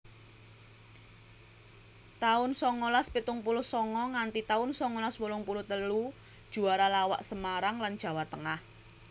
taun songolas pitung puluh songo nganti taun songolas wolung puluh telu Juara lawak Semarang lan Jawa Tengah